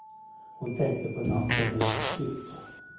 Hon tänkte på natten i hans hytt.